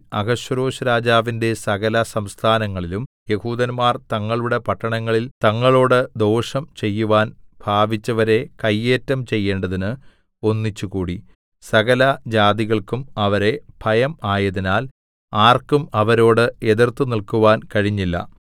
അഹശ്വേരോശ്‌രാജാവിന്റെ സകലസംസ്ഥാനങ്ങളിലും യെഹൂദന്മാർ തങ്ങളുടെ പട്ടണങ്ങളിൽ തങ്ങളോട് ദോഷം ചെയ്യുവാൻ ഭാവിച്ചവരെ കയ്യേറ്റം ചെയ്യേണ്ടതിന് ഒന്നിച്ചുകൂടി സകലജാതികൾക്കും അവരെ ഭയം ആയതിനാൽ ആർക്കും അവരോട് എതിർത്തുനിൽക്കുവാൻ കഴിഞ്ഞില്ല